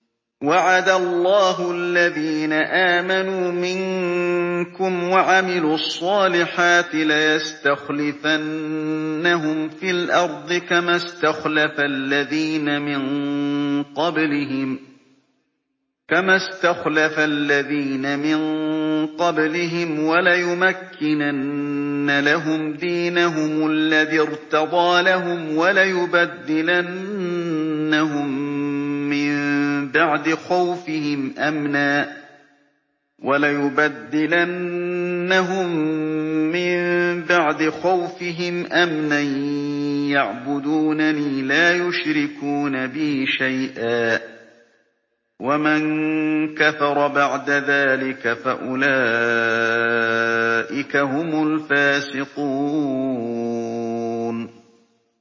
وَعَدَ اللَّهُ الَّذِينَ آمَنُوا مِنكُمْ وَعَمِلُوا الصَّالِحَاتِ لَيَسْتَخْلِفَنَّهُمْ فِي الْأَرْضِ كَمَا اسْتَخْلَفَ الَّذِينَ مِن قَبْلِهِمْ وَلَيُمَكِّنَنَّ لَهُمْ دِينَهُمُ الَّذِي ارْتَضَىٰ لَهُمْ وَلَيُبَدِّلَنَّهُم مِّن بَعْدِ خَوْفِهِمْ أَمْنًا ۚ يَعْبُدُونَنِي لَا يُشْرِكُونَ بِي شَيْئًا ۚ وَمَن كَفَرَ بَعْدَ ذَٰلِكَ فَأُولَٰئِكَ هُمُ الْفَاسِقُونَ